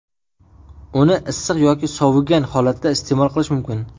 Uni issiq yoki sovigan holatda iste’mol qilish mumkin.